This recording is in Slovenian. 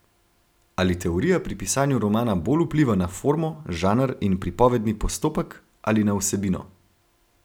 Ali teorija pri pisanju romana bolj vpliva na formo, žanr in pripovedni postopek, ali na vsebino?